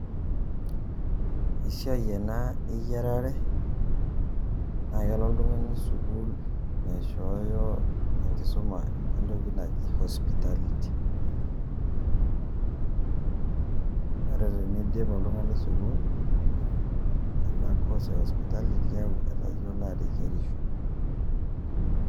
Esiai ena eyiarare, na kelo oltung'ani sukuul naishooyo enkisuma entoki naji hospitality. Ore teniidip oltung'ani sukuul, ena course e hospitality, keeku etayiolo ateyierisho.